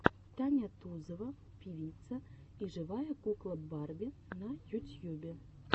таня тузова певица и живая кукла барби на ютьюбе